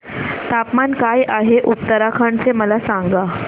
तापमान काय आहे उत्तराखंड चे मला सांगा